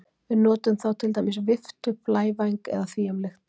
Við notum þá til dæmis viftu, blævæng eða því um líkt.